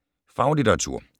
Faglitteratur